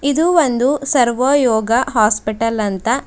ಇದು ಒಂದು ಸರ್ವಯೋಗ ಹಾಸ್ಪಿಟಲ್ ಅಂತ.